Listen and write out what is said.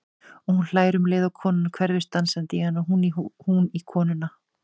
Og hún hlær um leið og konan hverfist dansandi í hana, hún í konuna.